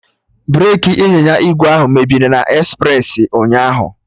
Breki ịnyịnya ígwè ahụ mebiri na espresi ụnyaahụ